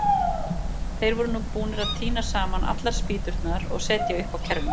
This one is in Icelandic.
Þeir voru nú búnir að tína saman allar spýturnar og setja upp á kerruna.